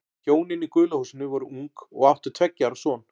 Hjónin í gula húsinu voru ung og áttu tveggja ára son.